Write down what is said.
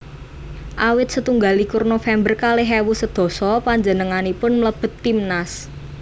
Awit setunggal likur November kalih ewu sedasa panjenenganipun mlebet timnas